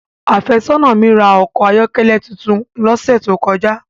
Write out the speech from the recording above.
Áfesona mi ra a ọkọ ayọkẹlẹ titun lọsẹ to kọja.